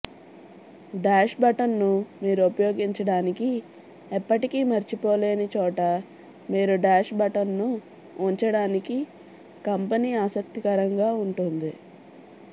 dash బటన్ను మీరు ఉపయోగించడానికి ఎప్పటికీ మరచిపోలేని చోట మీరు డాష్ బటన్ను ఉంచడానికి కంపెనీ ఆసక్తికరంగా ఉంటుంది